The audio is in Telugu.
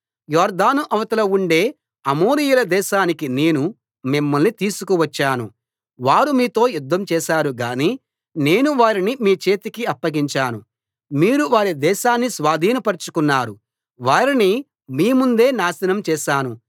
యొర్దాను అవతల ఉండే అమోరీయుల దేశానికి నేను మిమ్మల్ని తీసుకువచ్చాను వారు మీతో యుద్ధం చేశారు గానీ నేను వారిని మీ చేతికి అప్పగించాను మీరు వారి దేశాన్ని స్వాధీనపరచుకున్నారు వారిని మీ ముందే నాశనం చేశాను